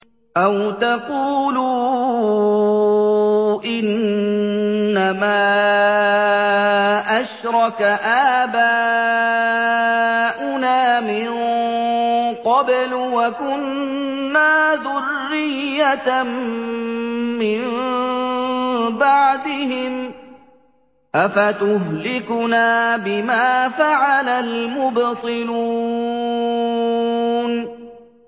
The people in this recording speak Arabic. أَوْ تَقُولُوا إِنَّمَا أَشْرَكَ آبَاؤُنَا مِن قَبْلُ وَكُنَّا ذُرِّيَّةً مِّن بَعْدِهِمْ ۖ أَفَتُهْلِكُنَا بِمَا فَعَلَ الْمُبْطِلُونَ